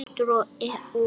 Kátur og glaður.